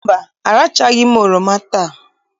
Mba, arachabeghị m oroma taa.